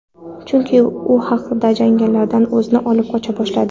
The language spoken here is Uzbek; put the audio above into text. Chunki u haqiqiy janglardan o‘zini olib qocha boshladi.